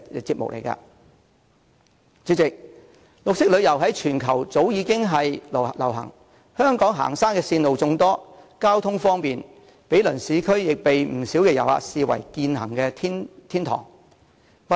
代理主席，綠色旅遊在全球早已流行，香港行山線路眾多，交通方便，毗鄰市區，獲不少遊客視為健行天堂。